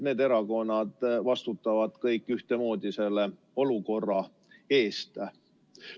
Need erakonnad vastutavad kõik ühtemoodi selle olukorra eest.